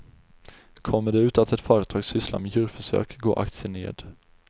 Kommer det ut att ett företag sysslar med djurförsök går aktien ned.